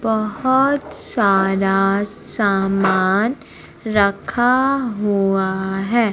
बहुत सारा सामान रखा हुआ है।